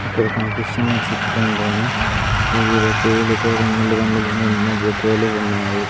ఇక్కడ కనిపిస్తున్న చిత్రంలోన వివిధ పూలుతో రంగులు రంగులుగా ఎన్నో బొకేలు ఉన్నాయి.